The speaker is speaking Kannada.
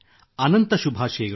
ಅನಂತ ಶುಭಾಶಯಗಳು